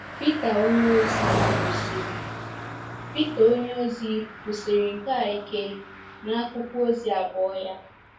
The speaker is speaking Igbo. Pita onyeozi kwusiri Pita onyeozi kwusiri nke a ike n’akwụkwọ ozi abụọ ya.